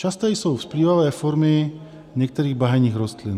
Časté jsou vzplývavé formy některých bahenních bylin.